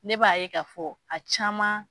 Ne b'a ye k'a fɔ a caman.